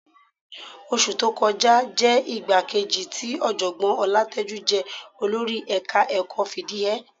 Oṣù tó kọjá jẹ́ ìgbà kejì tí Ọ̀jọ̀gbọ́n Ọlátẹ́jú jẹ olórí ẹ̀ka-ẹ̀kọ́ fìdí hẹ ẹ́